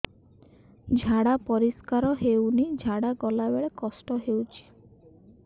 ଝାଡା ପରିସ୍କାର ହେଉନି ଝାଡ଼ା ଗଲା ବେଳେ କଷ୍ଟ ହେଉଚି